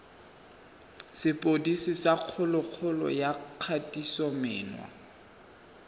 sepodisi sa kgololo ya kgatisomenwa